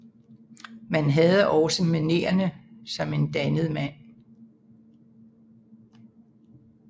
Men han havde også manererne som en dannet mand